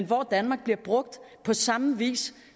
bruger danmark på samme vis